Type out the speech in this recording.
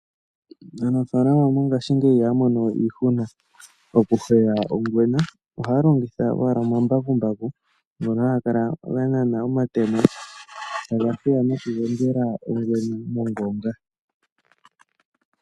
Aanafalama mongashi ngeyi ihalongowe iihuna mokugula ongwena ohalongitha owala omambakumbaku ngono hangakala ganana omatemo tagafulu nokugongela ongwena mongonga.